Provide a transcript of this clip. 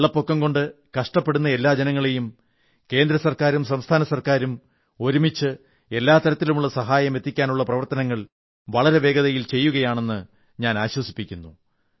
വെള്ളപ്പൊക്കം കൊണ്ട് കഷ്ടപ്പെടുന്ന എല്ലാ ജനങ്ങളെയും കേന്ദ്ര ഗവൺമെന്റുംസംസ്ഥാന ഗവൺമെന്റും ഒരുമിച്ച് എല്ലാ തരത്തിലുമുള്ള സഹായം എത്തിക്കാനുള്ള പ്രവർത്തനങ്ങൾ വളരെ വേഗത്തിൽ ചെയ്യുമെന്ന് ഞാൻ ഉറപ്പു നൽകുന്നു